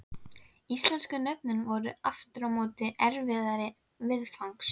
Íslensku nöfnin voru aftur á móti erfiðari viðfangs.